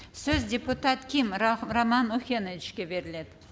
сөз депутат ким роман охеновичке беріледі